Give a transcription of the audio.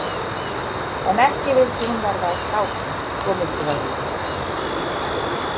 En ekki vildi hún verða að kráku, svo mikið var víst.